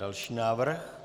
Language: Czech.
Další návrh.